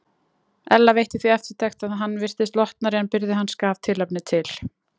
Ella veitti því eftirtekt að hann virtist lotnari en byrði hans gaf tilefni til.